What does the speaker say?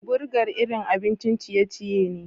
Burger irin abin ciye-ciye ne.